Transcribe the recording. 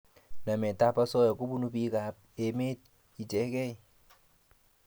Namet ab asoya kobunu piik ab emet ichekei